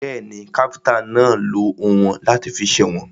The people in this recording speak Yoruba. Bẹ́ẹ̀ni, káfíntà náà lọ oùnwọ̀n láti fi sèwọ̀n.